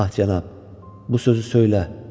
Ah cənab, bu sözü söylə.